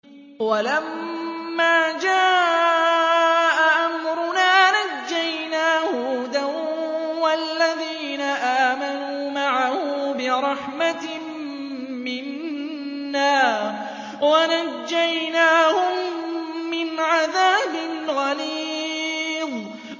وَلَمَّا جَاءَ أَمْرُنَا نَجَّيْنَا هُودًا وَالَّذِينَ آمَنُوا مَعَهُ بِرَحْمَةٍ مِّنَّا وَنَجَّيْنَاهُم مِّنْ عَذَابٍ غَلِيظٍ